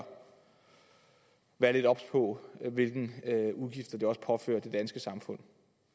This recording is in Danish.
være lidt obs på hvilke udgifter indvandringen også påfører det danske samfund